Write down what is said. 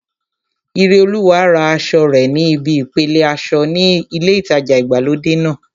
Ireolúwa ra aṣọ rẹ̀ ní ibi ìpele aṣọ ní ilé ìtajà ìgbàlódé náà